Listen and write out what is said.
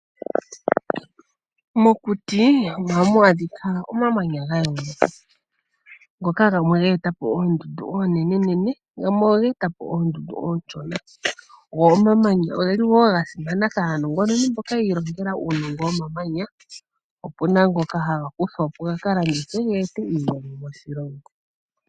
Mokuti ohamu adhika omamanya ga yooloka ngoka gamwe ge eta po oondundu oonenene, gamwe oge eta po oondundu oonshona. Omamanya oga simana kaanongononi mboka yi ilongela uunongo womamanya. Opu na ngoka haga kuthwa po ga ka landithwe ge ete iimaliwa moshilongo.